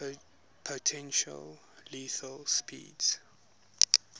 potentially lethal speeds